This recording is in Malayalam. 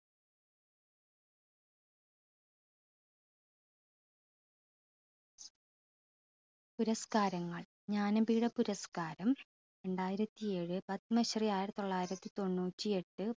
പുരസ്‌കാരങ്ങൾ ജ്ഞാനപീഡ പുരസ്‌കാരം രണ്ടായിരത്തിയേഴ് പത്മശ്രീ ആയിരത്തി തൊള്ളായിരത്തി തൊണ്ണൂറ്റിയെട്ട്